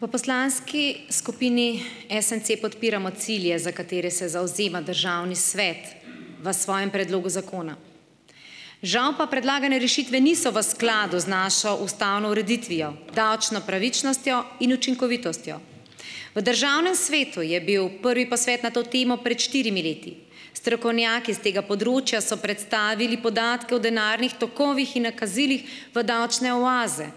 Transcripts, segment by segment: V poslanski skupini SMC podpiramo cilje, za katere se zavzema državni svet v svojem predlogu zakona. Žal pa predlagane rešitve niso v skladu z našo ustavno ureditvijo, davčno pravičnostjo in učinkovitostjo. V državnem svetu je bil prvi posvet na to temo pred štirimi leti, strokovnjaki s tega področja so predstavili podatke o denarnih tokovih in nakazilih v davčne oaze.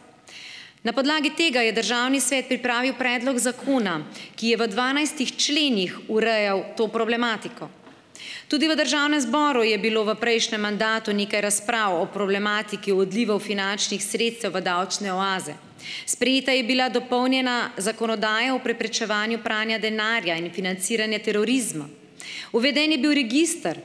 Na podlagi tega je državni svet pripravil predlog zakona, ki je v dvanajstih členih urejal to problematiko. Tudi v državnem zboru je bilo v prejšnjem mandatu nekaj razprav o problematiki odlivov finančnih sredstev v davčne oaze. Sprejeta je bila dopolnjena zakonodaja o preprečevanju pranja denarja in financiranja terorizma. Uveden je bil register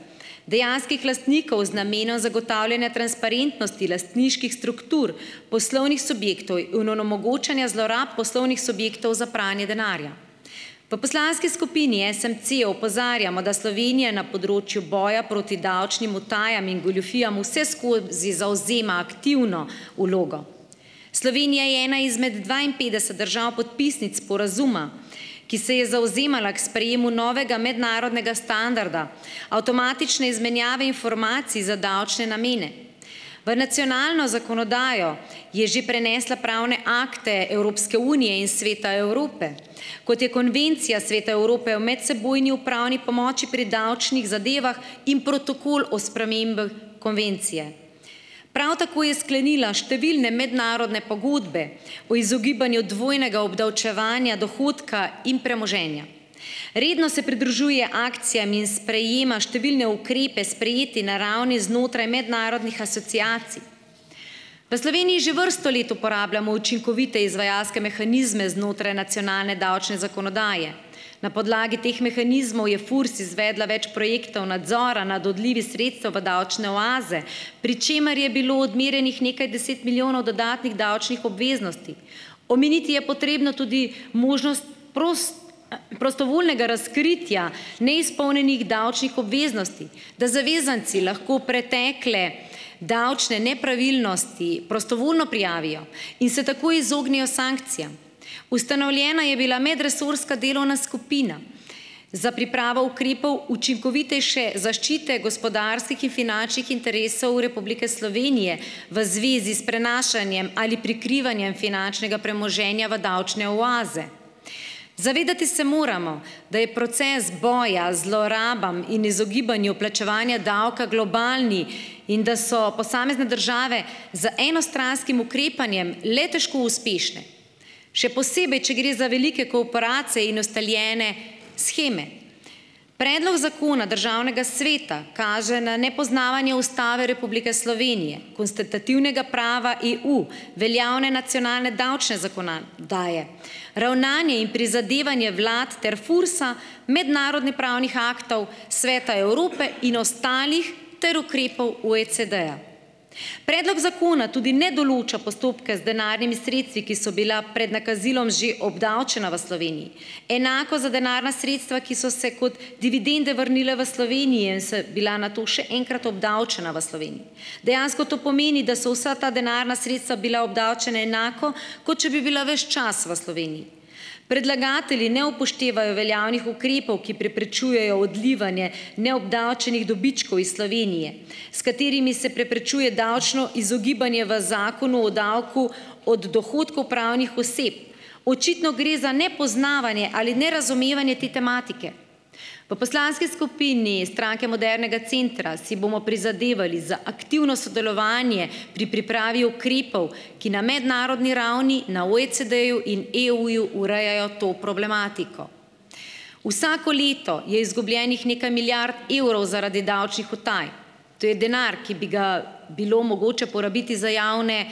dejanskih lastnikov z namenom zagotavljanja transparentnosti lastniških struktur poslovnih subjektov onemogočanja zlorab poslovnih subjektov za pranje denarja. V poslanski skupini SMC opozarjamo, da Slovenija na področju boja proti davčnim utajam in goljufijam vseskozi zavzema aktivno vlogo. Slovenija je ena izmed dvainpetdeset držav podpisnic sporazuma, ki se je zavzemala k sprejemu novega mednarodnega standarda, avtomatične izmenjave informacij za davčne namene. V nacionalno zakonodajo je že prenesla pravne akte Evropske unije in Sveta Evrope, kot je Konvencija Sveta Evrope o medsebojni upravni pomoči pri davčnih zadevah in Protokol o spremembah konvencije. Prav tako je sklenila številne mednarodne pogodbe o izogibanju dvojnega obdavčevanja dohodka in premoženja. Redno se pridružuje akcijam in sprejema številne ukrepe, sprejeti na ravni znotraj mednarodnih asociacij. V Sloveniji že vrsto let uporabljamo učinkovite izvajalske mehanizme znotraj nacionalne davčne zakonodaje. Na podlagi teh mehanizmov je FURS izvedla več projektov nadzora nad odlivi sredstev v davčne oaze, pri čemer je bilo odmerjenih nekaj deset milijonov dodatnih davčnih obveznosti. Omeniti je potrebno tudi možnost prostovoljnega razkritja neizpolnjenih davčnih obveznosti, da zavezanci lahko pretekle davčne nepravilnosti prostovoljno prijavijo in se tako izognejo sankcijam. Ustanovljena je bila medresorska delovna skupina za pripravo ukrepov učinkovitejše zaščite gospodarskih in finančnih interesov Republike Slovenije v zvezi s prenašanjem ali prikrivanjem finančnega premoženja v davčne oaze. Zavedati se moramo, da je proces boja zlorabam in izogibanju plačevanja davka globalen in da so posamezne države z enostranskim ukrepanjem le težko uspešne, še posebej, če gre za velike korporacije in ustaljene sheme. Predlog zakona državnega sveta kaže na nepoznavanje Ustave Republike Slovenije, konstitutivnega prava EU, veljavne nacionalne davčne zakono- daje, ravnanje in prizadevanje vlad ter FURS-a, mednarodnopravnih aktov Sveta Evrope in ostalih ter ukrepov OECD-ja. Predlog zakona tudi ne določa postopke z denarnimi sredstvi, ki so bila pred nakazilom že obdavčena v Sloveniji. Enako za denarna sredstva, ki so se kot dividende vrnila v Slovenijo, so bila nato še enkrat obdavčena v Sloveniji. Dejansko to pomeni, da so vsa ta denarna sredstva bila obdavčena enako, kot če bi bila ves čas v Sloveniji. Predlagatelji ne upoštevajo veljavnih ukrepov, ki preprečujejo odlivanje neobdavčenih dobičkov iz Slovenije, s katerimi se preprečuje davčno izogibanje v Zakonu o davku od dohodkov pravnih oseb. Očitno gre za nepoznavanje ali nerazumevanje te tematike. V poslanski skupini Stranke modernega centra si bomo prizadevali za aktivno sodelovanje pri pripravi ukrepov, ki na mednarodni ravni, na OECD-ju in EU-ju urejajo to problematiko. Vsako leto je izgubljenih nekaj milijard evrov zaradi davčnih utaj. To je denar, ki bi ga bilo mogoče porabiti za javne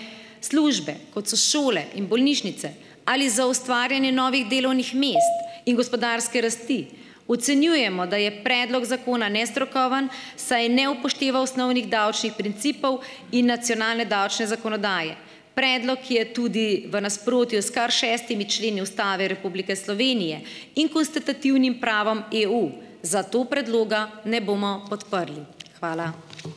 službe, kot so šole in bolnišnice, ali za ustvarjanje novih delovnih mest. In gospodarske rasti. Ocenjujemo, da je predlog zakona nestrokoven, saj ne upošteva osnovnih davčnih principov in nacionalne davčne zakonodaje. Predlog je tudi v nasprotju s kar šestimi členi Ustave Republike Slovenije in konstitutivnim pravom EU. Zato predloga ne bomo podprli. Hvala.